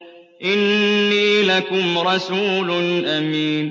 إِنِّي لَكُمْ رَسُولٌ أَمِينٌ